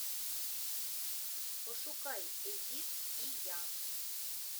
пошукай эдит и я